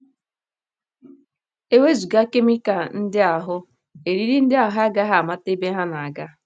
E wezụga kemikal ndị ahụ, eriri ndị ahụ agaghị amata ebe ha na - aga um.